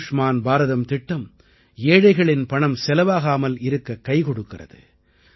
ஆயுஷ்மான் பாரதம் திட்டம் ஏழைகளின் பணம் செலவாகாமல் இருக்க கைக்கொடுக்கிறது